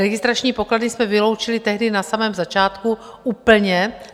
Registrační pokladny jsme vyloučili tehdy na samém začátku úplně.